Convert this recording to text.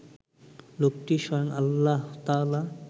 লোকটি স্বয়ং আল্লাহতায়ালা